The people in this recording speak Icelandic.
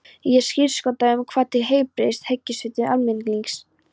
Ég skírskota um það til heilbrigðs hyggjuvits almennings.